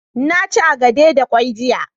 na ci agade da kwai jiya